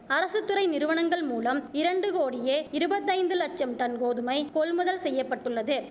அரசு துறை நிறுவனங்கள்மூலம் இரண்டு கோடியே இருபத்தைந்து லட்சம் டன் கோதுமை கொள்முதல் செய்ய பட்டுள்ளது